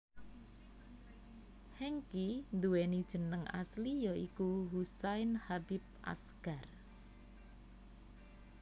Hengky nduwéni jeneng asli ya iku Husain Habib Asgar